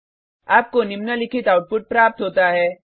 आपको निम्नलिखित आउटपुट प्राप्त होता है